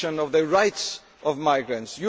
of the rights of